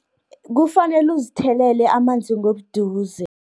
Kufanalu uzithelele amanzi, ngobuduze.